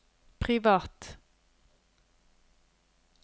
privat